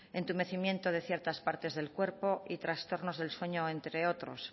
entumecimiento de ciertas partes del cuerpo y trastornos del sueño entre otros